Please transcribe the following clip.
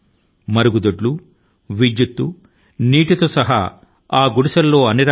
ఆ గుడిసెల లో టాయిలెట్ లను నీటి ని ఇంకా విద్యుత్తు ను రోజువారీ అవసరపడే వస్తువుల తో సహా సిద్ధం గా ఉంచారు